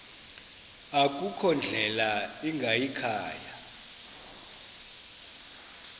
akukho ndlela ingayikhaya